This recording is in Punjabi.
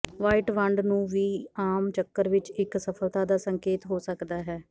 ਵ੍ਹਾਈਟ ਵੰਡ ਨੂੰ ਵੀ ਆਮ ਚੱਕਰ ਵਿੱਚ ਇੱਕ ਅਸਫਲਤਾ ਦਾ ਸੰਕੇਤ ਹੋ ਸਕਦਾ ਹੈ